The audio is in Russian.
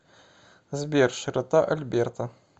сбер широта альберта